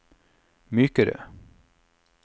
mykere